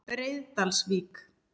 Breiðdalsvík